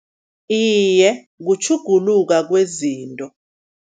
Iye, kutjhuguluka kwezinto.